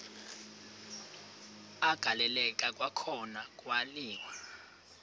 agaleleka kwakhona kwaliwa